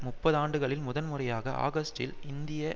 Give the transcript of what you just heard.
முப்பதாண்டுகளில் முதல்முறையாக ஆகஸ்டில் இந்திய